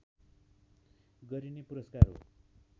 गरिने पुरस्कार हो